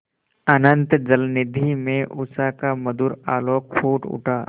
अनंत जलनिधि में उषा का मधुर आलोक फूट उठा